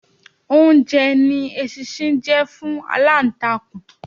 Oúnjẹ ni eṣinṣin jẹ́ fún aláǹtakùn.